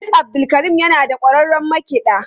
Idris abdulkarim yana da kwararrun makiɗa.